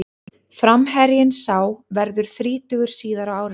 Framherjinn sá verður þrítugur síðar á árinu.